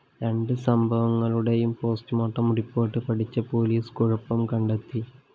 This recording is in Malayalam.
രണ്ട് സംഭവങ്ങളുടെയും പോസ്റ്റ്‌മോര്‍ട്ടം റിപ്പോർട്ട്‌ പഠിച്ച പോലീസ് കുഴപ്പം കണ്ടെത്തി